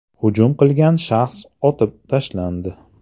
Hujum qilgan shaxs otib tashlandi.